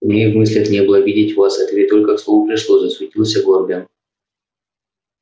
у меня и в мыслях не было обидеть вас это ведь только к слову пришлось засуетился горбин